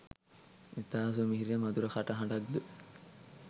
ඉතා සුමිහිරි මධුර කටහඬක් ද